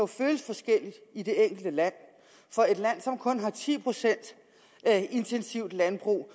føles forskelligt i de enkelte lande for et land som kun har ti procent intensivt landbrug